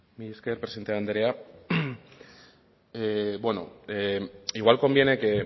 mila esker presidente andrea bueno igual conviene que